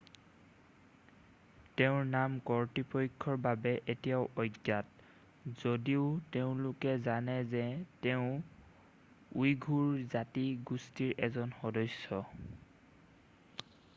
তেওঁৰ নাম কৰ্তৃপক্ষৰ বাবে এতিয়াও অজ্ঞাত যদিও তেওঁলোকে জানে যে তেওঁ উইঘুৰ জাতি গোষ্ঠিৰ এজন সদস্য